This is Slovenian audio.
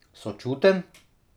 Sočuten?